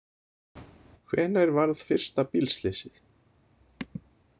Hvenær varð fyrsta bílslysið?